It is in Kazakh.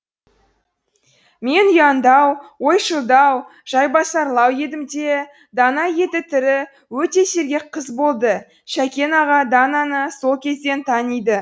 мен ұяңдау ойшылдау жайбасарлау едім де дана еті тірі өте сергек қыз болды шәкен аға дананы сол кезден таниды